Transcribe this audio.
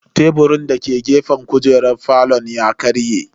Teburin dake gefen kujeran falon ya karye.